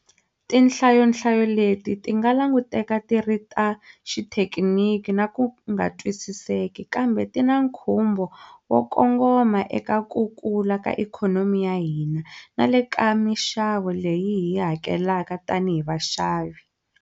Tinhlayonhlayo leti ti nga languteka ti ri ta xithekiniki na ku nga twisiseki, kambe ti na nkhumbo wo kongoma eka ka ku kula ka ikhonomi ya hina na le ka mixavo leyi hi yi hakelaka tanihi vaxavi.